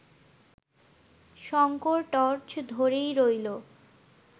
Shankar torch ধরেই রইল